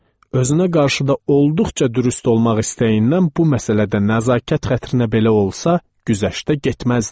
Özünə qarşı da olduqca dürüst olmaq istəyindən bu məsələdə nəzakət xətrinə belə olsa güzəştə getməzdi.